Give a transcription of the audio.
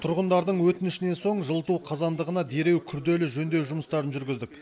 тұрғындардың өтінішінен соң жылыту қазандығына дереу күрделі жөндеу жұмыстарын жүргіздік